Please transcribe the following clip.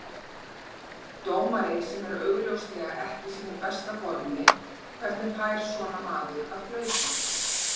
Dómari sem er augljóslega ekki í sínu besta formi, hvernig fær svona maður að flauta?